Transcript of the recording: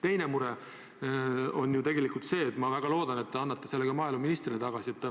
Teine mure on see ja ma väga loodan, et te annate selle ka maaeluministrile edasi.